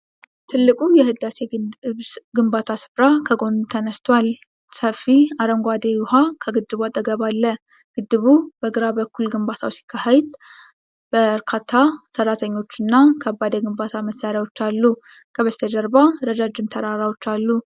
ታላቁ የሕዳሴ ግድብ ግንባታ ሥፍራ ከጎን ተነስቶአል። ሰፊ አረንጓዴ ውሃ ከግድቡ አጠገብ አለ። ግድቡ በግራ በኩል ግንባታው ሲካሄድ፣ በርካታ ሠራተኞችና ከባድ የግንባታ መሣሪያዎች አሉ። ከበስተጀርባ ረጃጅም ተራሮች አሉ።